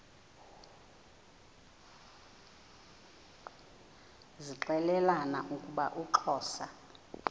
zixelelana ukuba uxhosa